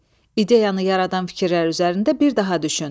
İdeyanı yaradan fikirlər üzərində bir daha düşün.